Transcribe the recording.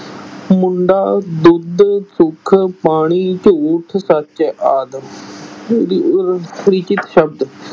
ਮੁੰਡਾ, ਦੁੱਧ, ਸੁੱਖ, ਪਾਣੀ, ਝੂਠ, ਸੱਚ ਆਦਿ ਪਰਿਚਿਤ ਸ਼ਬਦ